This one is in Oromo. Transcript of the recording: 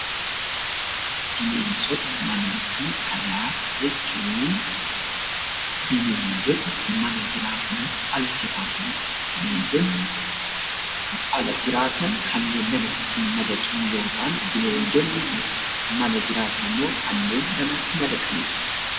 Bineensota manaa fi alaa jechuun Bineeldota mana jiraataniif ala jiraatani dha. Bineeldonni ala jiraatan kanneen namatti hin madaqiin yoo ta'an; bineeldonni mana jiraatan immoo kanneen namatti madaqani dha.